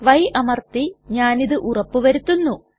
y അമർത്തി ഞാനിതു ഉറപ്പു വരുത്തുന്നു